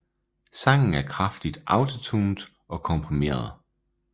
Sangen er kraftigt autotuned og komprimeret